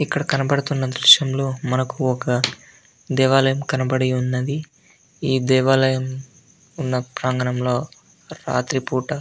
ఇక్కడ కనపడుతున్న దృశ్యంలో ఒక దేవాలయం ఈ దృశ్యంలో కనపడ్తున్నది. ఈ దేవాలయం ఉన్న ప్రాంగణంలో రాత్రి పుట --